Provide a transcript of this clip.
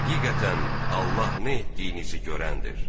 Həqiqətən, Allah nə etdiyinizi görəndir.